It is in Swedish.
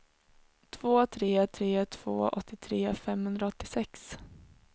två tre tre två åttiotre femhundraåttiosex